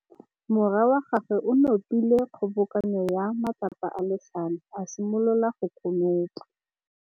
Morwa wa gagwe o nopile kgobokanô ya matlapa a le tlhano, a simolola go konopa.